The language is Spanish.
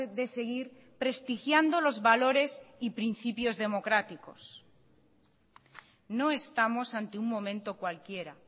de seguir prestigiando los valores y principios democráticos no estamos ante un momento cualquiera